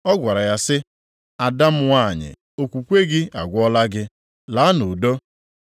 Ọ gwara ya sị, “Ada m nwanyị, okwukwe gị agwọọla gị. Laa nʼudo.”